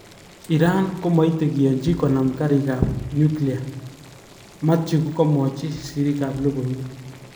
" Iran komoite kiyochi konam ngarik kap nuclear, Mathew kokomwochi siriik ab lokoiwek.